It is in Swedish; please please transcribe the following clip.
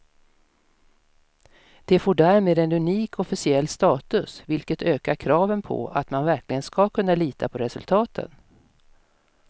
Det får därmed en unik officiell status, vilket ökar kraven på att man verkligen ska kunna lita på resultaten.